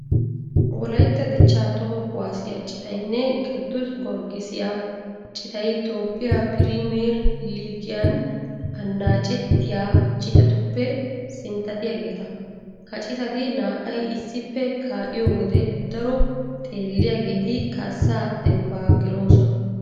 Wolaytta dichchaa toho kuwaasiya citaynne qiddus gorggisiya citay toophphiya piriimiyer liigiyan annaacettiya citatuppe sinttatiyageeta. Ha citati naa"ay issippe kaa'iyo wode daro xeelliyageeti kaassaa dembbaa geloosona.